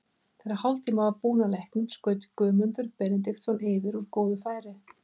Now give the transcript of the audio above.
Þegar hálftími var búinn af leiknum skaut Guðmundur Benediktsson yfir úr góðu færi.